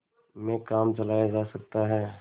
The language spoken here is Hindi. में काम चलाया जा सकता है